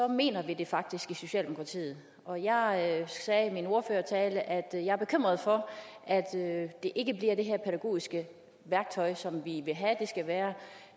mener vi det faktisk i socialdemokratiet og jeg sagde i min ordførertale at jeg er bekymret for at det ikke bliver det her pædagogiske værktøj som vi vil have det skal være